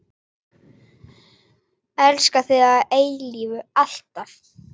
Elska þig að eilífu, alltaf.